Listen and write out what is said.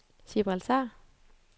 Gibraltar